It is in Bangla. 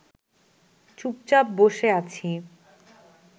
চুপচাপ বসে আছি